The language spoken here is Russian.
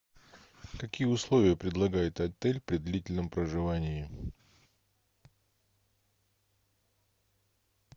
какие условия предлагает отель при длительном проживании